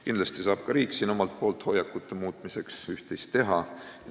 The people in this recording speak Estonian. Kindlasti saab ka riik siin omalt poolt hoiakute muutmiseks üht-teist teha.